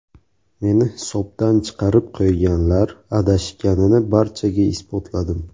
Meni hisobdan chiqarib qo‘yganlar adashganini barchaga isbotladim.